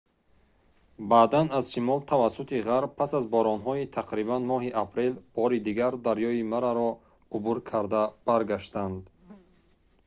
баъдан аз шимол тавассути ғарб пас аз боронҳои тақрибан моҳи апрел бори дигар дарёи мараро убур карда баргаштан